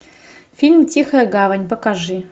фильм тихая гавань покажи